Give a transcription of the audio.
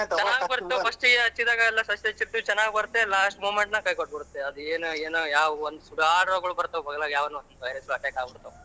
ಚೆನ್ನಾಗ ಬರ್ತಾವ first ಗೆ ಹಚ್ಚಿದಾಗಲೆಲ್ಲಾ first ನೇ shift ಎಲ್ಲ ಚೆನ್ನಾಗ ಬರುತ್ತೆ last moment ಗೆ ಎಲ್ಲ ಕೈ ಕೊಟ್ಟಬುಡತವೆ ಆದೇನೋ ಏನೋ ಯಾವ್ ಸುಡಾಳ್ ರೋಗಗಳ ಬರ್ತಾವ ಬಗ್ಲಗ್ ಯಾವನವೋ virus ಗಳ attack ಆಗಬುಡತವೆ.